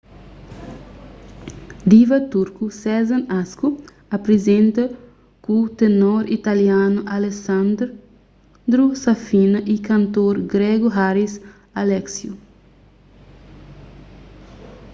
diva turku sezen aksu aprizenta ku tenor italianu alessandro safina y kantor gregu haris alexiou